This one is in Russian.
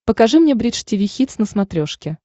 покажи мне бридж тиви хитс на смотрешке